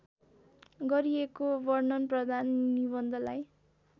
गरिएको वर्णनप्रधान निबन्धलाई